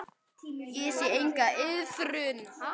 Ég sé enga iðrun.